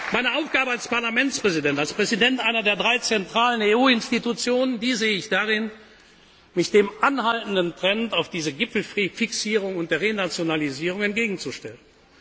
Parlament! Meine Aufgabe als Parlamentspräsident, als Präsident eines der drei zentralen EU Organe, sehe ich darin, mich dem anhaltenden Trend zu dieser Gipfelfixierung und dieser Renationalisierung entgegenzustellen.